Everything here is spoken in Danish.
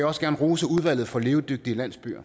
også gerne rose udvalget for levedygtige landsbyer